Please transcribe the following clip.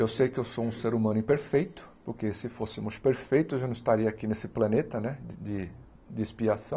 Eu sei que eu sou um ser humano imperfeito, porque se fôssemos perfeitos, eu não estaria aqui nesse planeta né de de expiação.